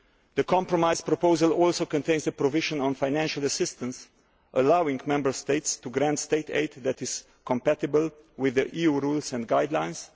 The compromise proposal also contains a provision on financial assistance allowing Member States to grant state aid that is compatible with the EU rules and guidelines.